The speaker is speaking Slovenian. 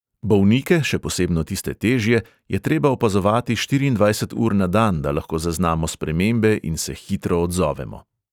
Bolnike, še posebno tiste težje, je treba opazovati štiriindvajset ur na dan, da lahko zaznamo spremembe in se hitro odzovemo.